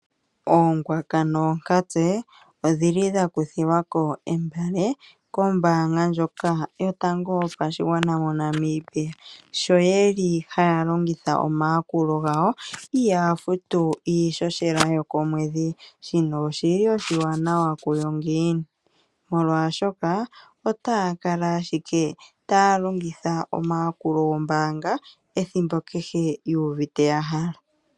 Ookwanka noonkatse odhi li dha kuthilwa ko entene kombaanga ndjoka yotango yopashigwana moNamibia. Sho ye li haya longitha omayakulu gayo ihaa futu iishoshela yokomweedhi, shino oshi li oshiwanawa kuyo ngiini, molwaashoka ota ya kala ashike ta ya longitha omayakulo gombaanga ethimbo kehe yuuvite ya hala.